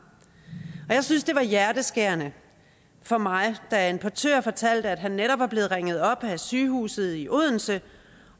jeg synes det var hjerteskærende for mig da en portør fortalte at han netop var blevet ringet op af sygehuset i odense